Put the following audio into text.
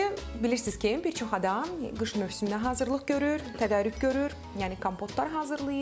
İndi bilirsiz ki, bir çox adam qış mövsümünə hazırlıq görür, tədarük görür, yəni kompotlar hazırlayır,